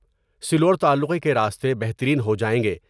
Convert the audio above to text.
سلوڑ تعلقے کے راستے بہترین ہو جائیں گے ۔